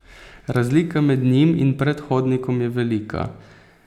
Razlika med njim in predhodnikom je velika.